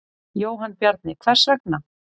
Jóhann Bjarni: Hvers vegna?